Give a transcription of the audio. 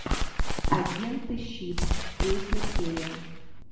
агенты щит третья серия